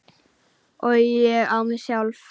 Og ég á mig sjálf!